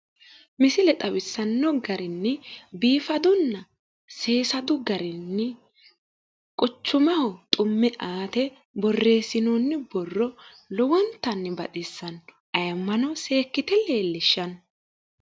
misile xawissanno garinni biifadunna seessadu garinni quchumaho xumme aate borreessinoonni borro lowontanni baxissanno. ayyimmano seekkite xawissanno.